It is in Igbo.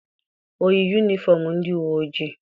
O yi yunifọm ndị uwe ojii?